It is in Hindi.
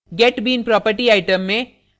get bean property item में